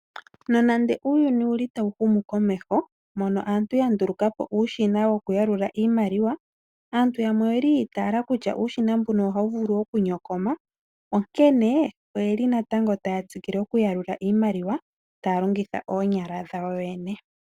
Nonande uuyuni owuli tawu humu komeho mono aantu ya nduluka po uushina woku yalula iimaliwa. Aantu yamwe oyeli yi itaala kutya uushina mbuno ohawu vulu oku nyokoma . Onkene oyeli ya tsikila oku yalula iimaliwa taya longitha oonyala dhawo yene.